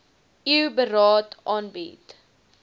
eu beraad aanbied